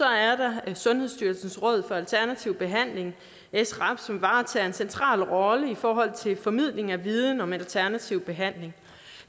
er der sundhedsstyrelsens råd for alternativ behandling srab som varetager en central rolle i forhold til formidling af viden om alternativ behandling